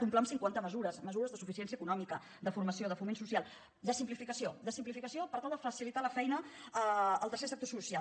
un pla amb cinquanta mesures mesures de suficiència econòmica de formació de foment social de simplificació de simplificació per tal de facilitar la feina al tercer sector social